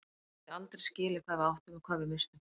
Þið getið aldrei skilið hvað við áttum og hvað við misstum.